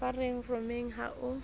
ba re rommeng ho a